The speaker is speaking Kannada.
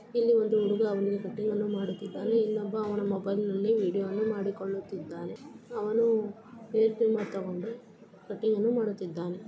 ಇಲ್ಲಿ ಒಂದು ಹುಡುಗ ಅವನಿಗೆ ಕಟಿಂಗ್ಅನ್ನು ಮಾಡುತ್ತಿದ್ದಾನೆ. ಇಲ್ಲೊಬ್ಬ ಅವನ ಮೊಬೈಲ್ನಲ್ಲಿ ವಿಡಿಯೋ ವನ್ನು ಮಾಡಿಕೊಳ್ಳುತ್ತಿದ್ದಾನೆ. ಅವನು ಏರ್ ಟ್ರಿಮ್ಮರ್ ತಗೊಂಡು ಕಟಿಂಗ್ಅನ್ನು ಮಾಡುತ್ತಿದ್ದಾನೆ.